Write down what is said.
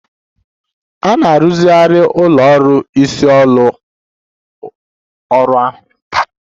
A na-arụzigharị ụlọ ọrụ isi ụlọ ọrụ ahụ.